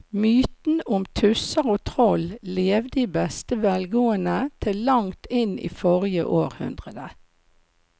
Mytene om tusser og troll levde i beste velgående til langt inn i forrige århundre.